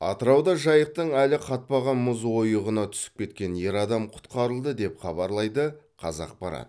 атырауда жайықтың әлі қатпаған мұз ойығына түсіп кеткен ер адам құтқарылды деп хабарлайды қазақпарат